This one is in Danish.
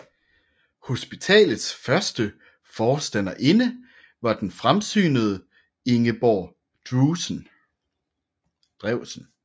Hospitalets første forstanderinde var den fremsynede Ingeborg Drewsen